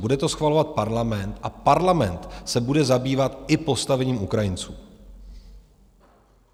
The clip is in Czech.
Bude to schvalovat parlament a parlament se bude zabývat i postavením Ukrajinců.